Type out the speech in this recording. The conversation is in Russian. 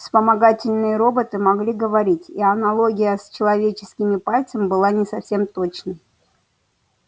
вспомогательные роботы могли говорить и аналогия с человеческим пальцем была не совсем точной